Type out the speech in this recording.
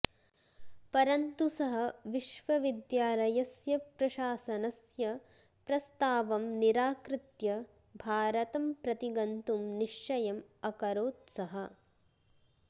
परन्तु सः विश्वविद्यालस्य प्रसाशनस्य प्रस्तावं निराकृत्य भारतं प्रति गन्तुं निश्चयम् अकरोत् सः